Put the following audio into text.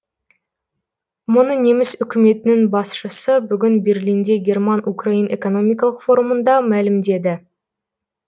мұны неміс үкіметінің басшысы бүгін берлинде герман украин экономикалық форумында мәлімдеді